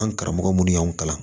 An karamɔgɔ minnu y'anw kalan